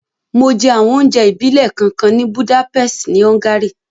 Mo jẹ àwọn onjẹ ìbílẹ̀ kánkan ni Budapest ni Hungary